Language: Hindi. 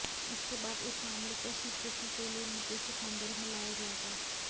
इसके बाद इस मामले को स्वीकृति के लिए निदेशक मंडल में लाया जाएगा